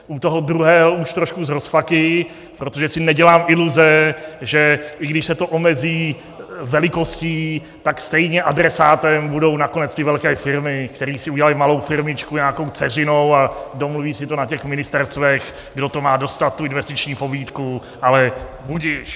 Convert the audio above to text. U toho druhého už trošku s rozpaky, protože si nedělám iluze, že i když se to omezí velikostí, tak stejně adresátem budou nakonec ty velké firmy, které si udělaly malou firmičku nějakou dceřinou a domluví si to na těch ministerstvech, kdo to má dostat, tu investiční pobídku, ale budiž.